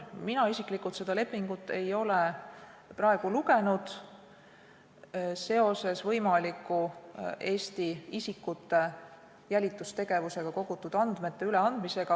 Mina isiklikult seda lepingut ei ole praegu lugenud seoses Eestis jälitustegevusega kogutud andmete võimaliku üleandmisega.